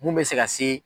Mun bɛ se ka se